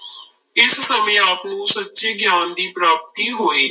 ਇਸ ਸਮੇਂ ਆਪ ਨੂੰ ਸੱਚੇ ਗਿਆਨ ਦੀ ਪ੍ਰਾਪਤੀ ਹੋਈ।